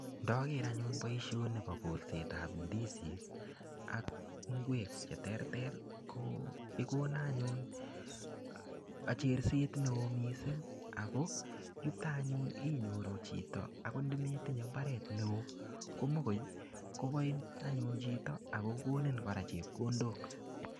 Ndoker anyun boishoni bo kolsetab indisi ak ingwek cheterter ko igole anyun ak cherset neo missing ako yuton anyun inyoruu chito Ako ndometinye imbaret neo komokoi koboin anyun chuto akokoni koraa chepkondok.